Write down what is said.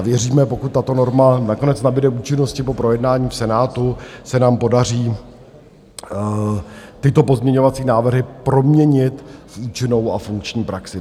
A věříme, pokud tato norma nakonec nabyde účinnosti po projednání v Senátu, se nám podaří tyto pozměňovací návrhy proměnit v účinnou a funkční praxi.